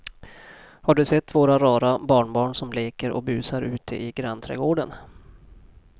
Har du sett våra rara barnbarn som leker och busar ute i grannträdgården!